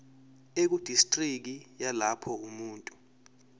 ekudistriki yalapho umuntu